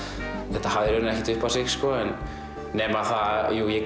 þetta hafði eiginlega ekkert upp á sig sko nema það jú að ég